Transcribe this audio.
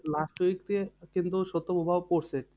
Last week দিয়ে কিন্তু শৈত্য প্রবাহ পড়ছে।